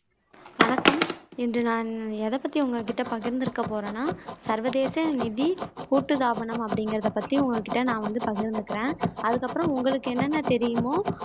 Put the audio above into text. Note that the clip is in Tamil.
வணக்கம் இன்று நான் எதை பத்தி உங்ககிட்ட பகிர்ந்துக்க போறேன்னா சர்வதேச நிதி கூட்டு தாபனம் அப்படிங்குறதை பத்தி உங்ககிட்ட நான் வந்து பகிர்ந்துக்குறேன் அதுக்கு அப்பறம் உங்களுக்கு என்னென்ன தெரியுமோ